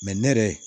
ne yɛrɛ